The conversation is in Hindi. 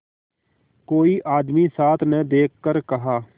कोई आदमी साथ न देखकर कहा